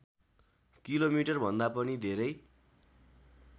किलोमिटरभन्दा पनि धेरै